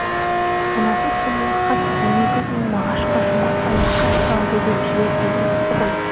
мынасы соңғы хат он екі күн мағашқа жұма сайын хат сал деп ем жібергені осы ғой